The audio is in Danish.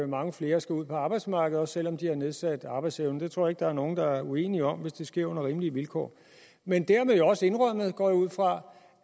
mange flere skal ud på arbejdsmarkedet også selv om de har nedsat arbejdsevne det tror jeg ikke der er nogen der er uenige om hvis det sker under rimelige vilkår men dermed jo også indrømmet går jeg ud fra